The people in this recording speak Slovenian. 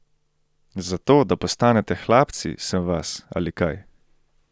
Zato, da postanete hlapci, sem vas, ali kaj?